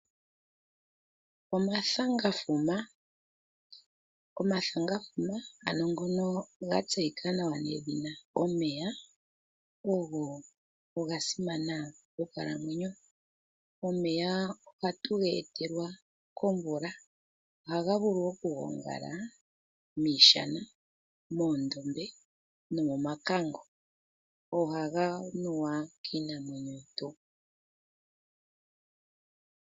Omathangafuma, omathangafuma ano ngoka ga tseyika nawa nethina omeya ogo gasimana monkalamwenyo. Omeya ohatu getelwa komvula, ohaga vulu okuvulu okugongala miishana, moondombe, nomomakango ohaga nuwa kiinamwenyo yetu.